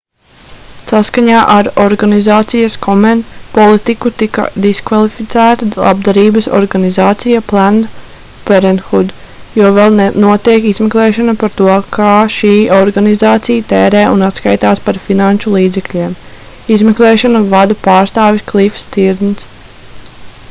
saskaņā ar organizācijas komen politiku tika diskvalificēta labdarības organizācija planned parenthood jo vēl notiek izmeklēšana par to kā šī organizācija tērē un atskaitās par finanšu līdzekļiem izmeklēšanu vada pārstāvis klifs stīrnss